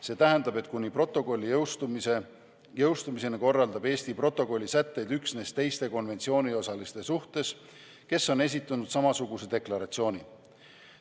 See tähendab, et kuni protokolli jõustumiseni korraldab Eesti protokolli sätteid üksnes teiste konventsiooniosaliste suhtes, kes on esitanud samasuguse deklaratsiooni.